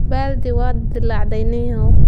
Baaldi waa dildillaacday ninyahow.